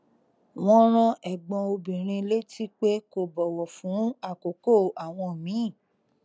wọn rán ẹgbọn obìnrin létí pé kó bọwọ fún àkókò àwọn míì